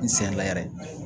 N sen la yɛrɛ